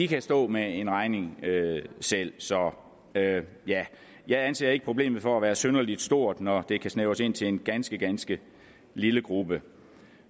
kan stå med en regning selv så ja jeg anser ikke problemet for at være synderlig stort når det kan snævres ind til en ganske ganske lille gruppe